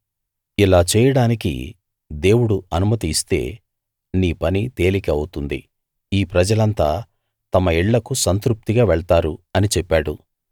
ఇలా చేయడానికి దేవుడు అనుమతి ఇస్తే నీ పని తేలిక అవుతుంది ఈ ప్రజలంతా తమ ఇళ్ళకు సంతృప్తిగా వెళ్తారు అని చెప్పాడు